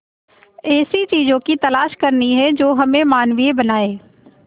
ऐसी चीजों की तलाश करनी है जो हमें मानवीय बनाएं